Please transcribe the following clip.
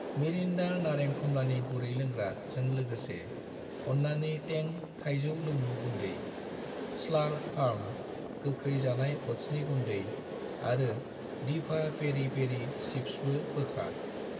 Mirinda नारें खम्लानि गुरै लोंग्रा जों लोगोसे , अन्नानै तें थायजौ लोंमु गुन्दै , स्लार्प फार्म गोख्रै जानाय अटसनि गुन्दै आरो दिभा पेरि पेरि चिप्सबो बोखार।